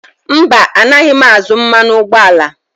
Mba, anaghị m azụ mmanụ ụgbọala.